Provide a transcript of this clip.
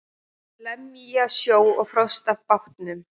Lemja snjó og frost af bátnum.